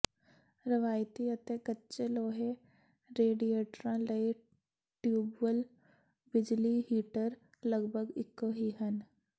ਰਵਾਇਤੀ ਅਤੇ ਕੱਚੇ ਲੋਹੇ ਰੇਡੀਏਟਰਾਂ ਲਈ ਟਿਊਬੁਅਲ ਬਿਜਲੀ ਹੀਟਰ ਲਗਭਗ ਇੱਕੋ ਹੀ ਹਨ